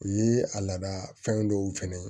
U ye a laada fɛn dɔw fɛnɛ ye